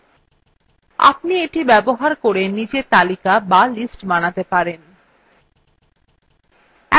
আপনি এটি ব্যবহার করে নিজে তালিকা বা lists বানাতে পারবেন